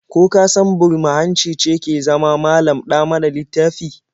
Ko ka san burma-hanci ce ke zama malam-ɗa-mana-littafi?